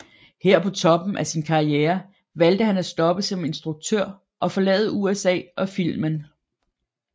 Her på toppen af sin karriere valgte han at stoppe som instruktør og forlade USA og filmen